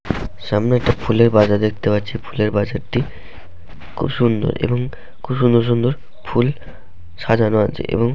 সামনে একটি ফুলের বাজার দেখতে পাচ্ছি ফুলের বাজারটি খুব সুন্দর এবং খুব সুন্দর সুন্দর ফুল সাজানো আছে এবং --